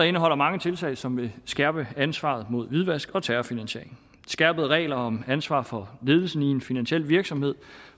indeholder mange tiltag som vil skærpe ansvaret mod hvidvask og terrorfinansiering skærpede regler om ansvar for ledelsen i en finansiel virksomhed